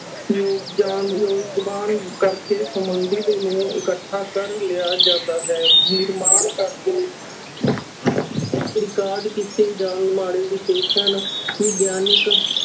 ਕਰਕੇ ਸੰਬੰਧਿਤ ਨੂੰ ਇਕੱਠਾ ਕਰ ਲਿਆ ਜਾਂਦਾ ਹੈ, ਨਿਰਮਾਣ ਕਰਕੇ ਰਿਕਾਰਡ ਕੀਤੇ ਜਾਣ ਵਾਲੇ ਵਿਸ਼ੇਸ਼ਣ ਵਿਗਿਆਨਕ